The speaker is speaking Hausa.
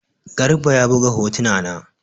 Garba ya buga hotuna na.